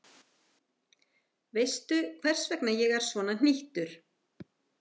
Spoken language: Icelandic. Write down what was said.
Veistu, hvers vegna ég er svona hnýttur?